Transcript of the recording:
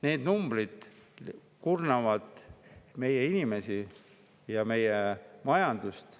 Need numbrid kurnavad meie inimesi ja meie majandust.